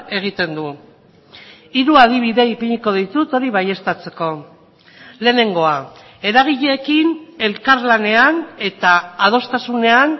egiten du hiru adibide ipiniko ditut hori baieztatzeko lehenengoa eragileekin elkarlanean eta adostasunean